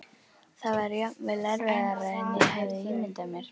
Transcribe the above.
Það var jafnvel erfiðara en ég hafði ímyndað mér.